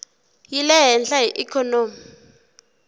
yi le hehla hi ikhonomi